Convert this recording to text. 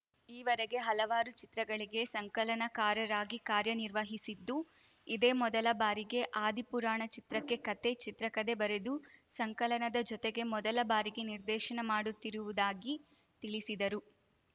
ಈವರೆಗೆ ಹಲವಾರು ಚಿತ್ರಗಳಿಗೆ ಸಂಕಲನಕಾರರಾಗಿ ಕಾರ್ಯ ನಿರ್ವಹಿಸಿದ್ದು ಇದೇ ಮೊದಲ ಬಾರಿಗೆ ಆದಿ ಪುರಾಣ ಚಿತ್ರಕ್ಕೆ ಕಥೆ ಚಿತ್ರಕಥೆ ಬರೆದು ಸಂಕಲನದ ಜೊತೆಗೆ ಮೊದಲ ಬಾರಿಗೆ ನಿರ್ದೇಶನ ಮಾಡುತ್ತಿರುವುದಾಗಿ ತಿಳಿಸಿದರು